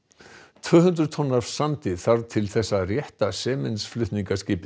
tvö hundruð tonn af sandi þarf til þess að rétta